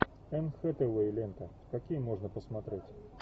энн хэтэуэй лента какие можно посмотреть